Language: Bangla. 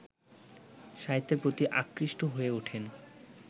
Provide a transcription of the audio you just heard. সাহিত্যের প্রতি আকৃষ্ট হয়ে ওঠেন